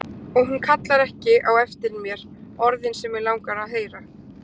Og hún kallar ekki á eftir mér orðin sem mig langar að heyra.